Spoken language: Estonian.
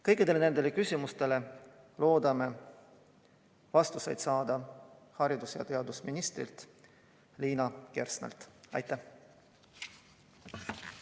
Kõikidele nendele küsimustele loodame haridus- ja teadusministrilt Liina Kersnalt vastused saada.